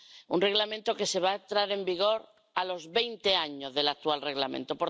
un Reglamento que va entrar en vigor a los veinte años del actual Reglamento.